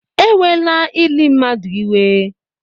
Ewela ili mmadụ iwe